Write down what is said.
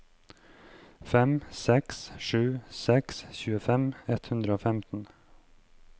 fem seks sju seks tjuefem ett hundre og femten